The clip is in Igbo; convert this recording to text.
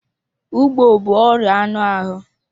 Ugbo bụ ọrịa anụ ahụ.